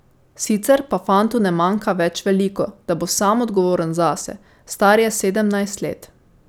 Sicer pa fantu ne manjka več veliko, da bo sam odgovoren zase, star je sedemnajst let.